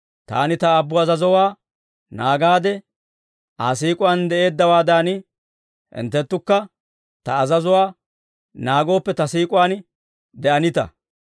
Taani Ta Aabbu azazuwaa naagaade Aa siik'uwaan de'eeddawaadan, hinttenttukka Ta azazuwaa naagooppe, Ta siik'uwaan de'anita.